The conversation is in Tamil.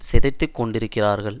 சிதைத்துக் கொண்டிருக்கிறார்கள்